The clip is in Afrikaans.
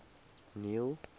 neil